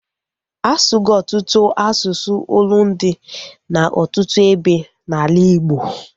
Asugo ọtụtụ asụsụ olundi na ọtụtụ ebe na ala Igbo